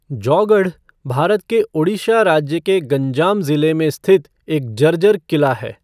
जौगढ़, भारत के ओड़िशा राज्य के गंजाम ज़िले में स्थित एक जर्जर किला है।